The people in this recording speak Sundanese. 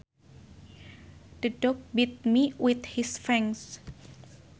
The dog bit me with his fangs